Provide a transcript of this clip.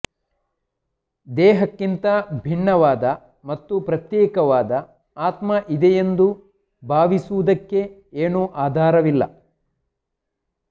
ದೇಹಕ್ಕಿಂತ ಭಿನ್ನವಾದ ಮತ್ತು ಪ್ರತ್ಯೇಕವಾದ ಆತ್ಮ ಇದೆಯೆಂದು ಭಾವಿಸುವುದಕ್ಕೆ ಏನೂ ಆಧಾರವಿಲ್ಲ